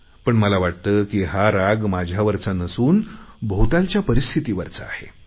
पण मला वाटते की हा राग माझ्यावरचा नसून भोवतालच्या परिस्थितीवरचा आहे